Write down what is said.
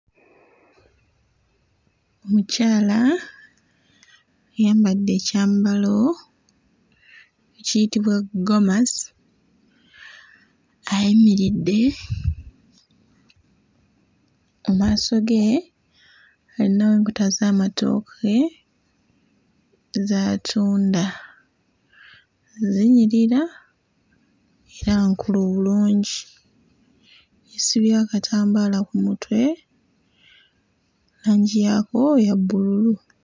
Omukyala ayambadde ekyambalo ekiyitibwa ggomasi ayimiridde mu maaso ge ayinawo enkota z'amatooke z'atunda, zinyirira era nkulu bulungi. Yeesibye akatambaala ku mutwe langi yaako ya bbululu.